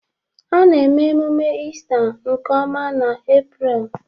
A na-eme ememe Ista nke ọma n'April